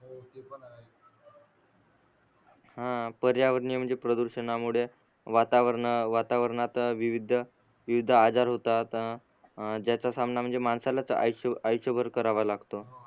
हा पर्यावरणीय म्हणजे प्रदुषणामुळे वातावरण वातावरणाचा विविध विविध आजार होतात ज्याचा सामना म्हणजे माणसालाच आष्यभर आष्यभर करावा लागतो